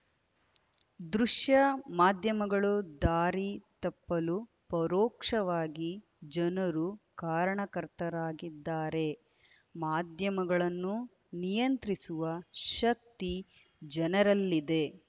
ದೃಶ್ಯ ಮಾಧ್ಯಮಗಳು ದಾರಿ ತಪ್ಪಲು ಪರೋಕ್ಷವಾಗಿ ಜನರು ಕಾರಣಕರ್ತರಾಗಿದ್ದಾರೆ ಮಾಧ್ಯಮಗಳನ್ನು ನಿಯಂತ್ರಿಸುವ ಶಕ್ತಿ ಜನರಲ್ಲಿದೆ